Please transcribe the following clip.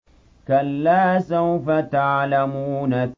كَلَّا سَوْفَ تَعْلَمُونَ